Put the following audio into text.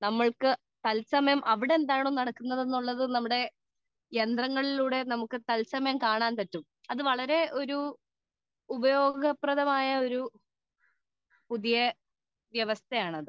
speaker 2 നമ്മൾക്ക് തത്സമയം അവിടെ എന്താണ് നടക്കുന്നത് എന്ന് നമ്മുടെ യന്ത്രങ്ങളിലൂടെ കാണാൻ സാധിക്കും അത് വളരെയധികം ഉപയോഗപ്രദമായ ഒരു വ്യവസ്ഥയാണ് അത്